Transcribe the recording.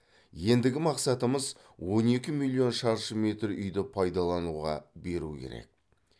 ендігі мақсатымыз он екі миллилон шаршы метр үйді пайдалануға беру керек